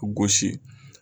gosi.